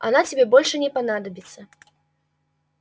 она тебе больше не понадобится